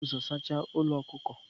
Ujunwa ga-ebu ụzọ saacha ụlọ ọkụkọ.